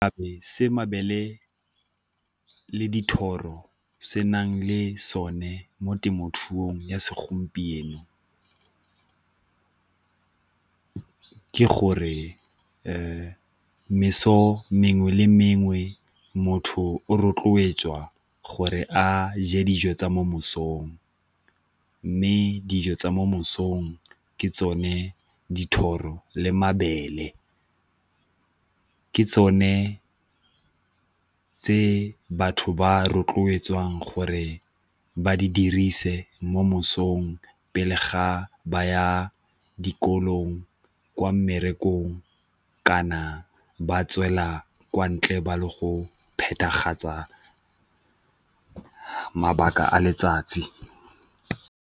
Gape se mabele le dithoro se nang le sone mo temothuong ya segompieno ke gore meso mengwe le mengwe motho o rotloetswa gore a je dijo tsa mo mosong, mme dijo tsa mo mosong ke tsone dithoro le mabele ke tsone tse batho ba rotloetsang gore ba di dirise mo mosong pele ga ba ya dikolong kwa mmerekong kana ba tswela kwa ntle ba le go mabaka a letsatsi.